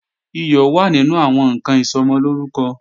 Iyọ̀ wà nínú àwọn ǹkan Ìsọmọlórúkọ